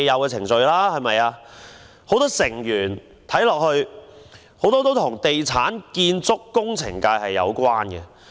該委員會許多成員與地產、建築及工程界有關。